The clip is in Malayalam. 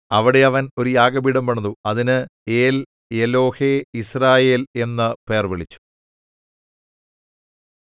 അവിടെ അവൻ ഒരു യാഗപീഠം പണിതു അതിന് ഏൽഎലോഹേയിസ്രായേൽ എന്നു പേർവിളിച്ചു